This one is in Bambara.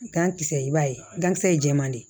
Gankisɛ i b'a ye gankisɛ ye jɛman de ye